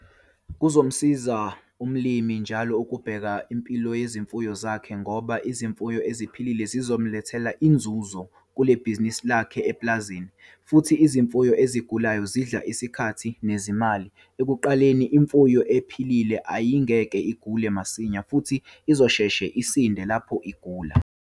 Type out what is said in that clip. Kuzomsiza umlimi njalo ukubheka impilo yezimfuyo zakhe ngoba izimfuyo eziphilile zizolethainzuzo kule bhizinisi lakhe epulazini. Futhi, izimfuyo ezigulayo zidla isikhathi nezimali! Ekuqaleni, imfuyo ephilile ayingeke igule masinya futhi izosheshe isinde lapho igula.